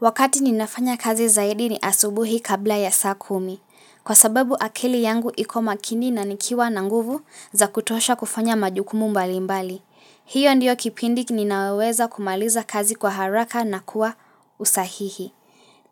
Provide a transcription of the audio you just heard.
Wakati ninafanya kazi zaidi ni asubuhi kabla ya saa kumi. Kwa sababu akili yangu iko makini na nikiwa na nguvu za kutosha kufanya majukumu mbalimbali. Hiyo ndiyo kipindi ninayoweweza kumaliza kazi kwa haraka na kuwa usahihi.